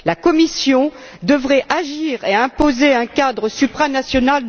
La Commission devrait agir et imposer un cadre supranational?